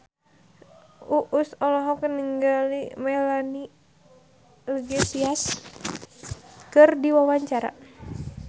Uus olohok ningali Melanie Iglesias keur diwawancara